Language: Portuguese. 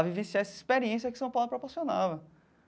A vivenciar essa experiência que São Paulo proporcionava.